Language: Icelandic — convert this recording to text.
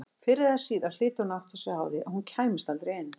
Fyrr eða síðar hlyti hún að átta sig á því að hún kæmist aldrei inn.